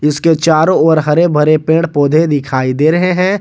इसके चारों ओर हरे भरे पेड़ पौधे दिखाई दे रहे हैं।